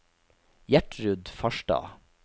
Gjertrud Farstad